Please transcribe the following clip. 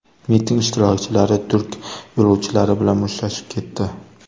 Miting ishtirokchilari turk yo‘lovchilari bilan mushtlashib ketdi.